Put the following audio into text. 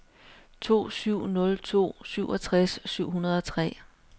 to syv nul to syvogtres syv hundrede og tre